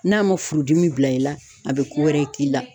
N'a ma furudimi bila i la a be ko wɛrɛ k'i la